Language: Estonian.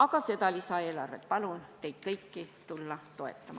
Aga seda lisaeelarvet ma palun teil kõigil toetada.